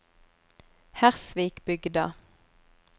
Hersvikbygda